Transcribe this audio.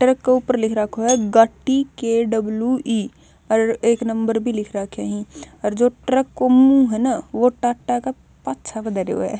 ट्रक क ऊपर लिख राखो ह गाटी के_डब्ल्यू_ई अर एक नंबर भी लिख राख्यो हं अर जो ट्रक को मुहँ ह न वो टाटा क पाछह प धरयो ह।